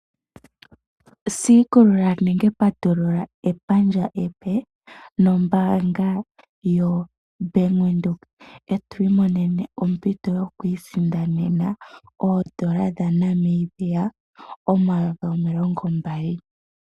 Siikulula nenge patulula epandja epe nombaanga yaWindhoek eto imoneno ompito yokwiisindanena oondola dhaNamibia 20000.